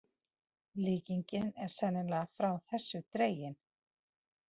Líkingin er sennilega frá þessu dregin.